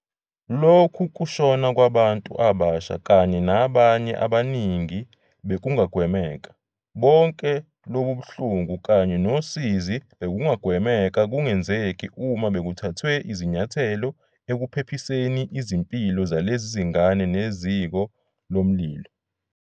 Lokhu kushona kwabantu abasha kanye nabanye abaningi bekungagwemeka. Bonke lobu buhlungu kanye nosizi bebungagwemeka kungenzeki uma bekuthathwe izinyathelo ekuphephiseni izimpilo zalezi zingane neziko lomlilo.